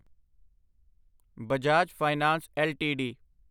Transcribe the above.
Bajaj finance LTD